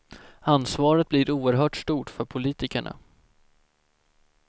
Ansvaret blir oerhört stort för politikerna.